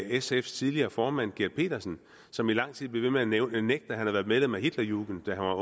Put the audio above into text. sfs tidligere formand gert petersen som i lang tid blev ved med at nægte at han havde været medlem af hitlerjugend da